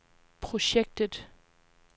projektet